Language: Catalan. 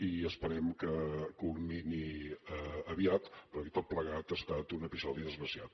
i esperem que culmini aviat perquè tot plegat ha estat un episodi desgraciat